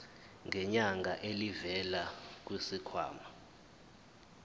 ngenyanga elivela kwisikhwama